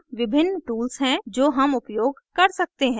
यहाँ विभिन्न tools हैं जो हम उपयोग कर सकते हैं